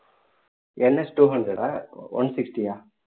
NStwo hundred ஆ one sixty யா